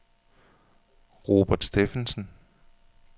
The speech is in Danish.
Robert Steffensen